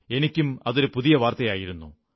എനിക്കും അതൊരു പുതിയ വാർത്തയായിരുന്നു